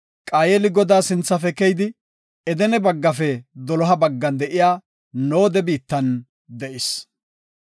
Qaayeli Godaa sinthafe keyidi, Edene baggafe doloha baggan de7iya Nooda, biittan de7is.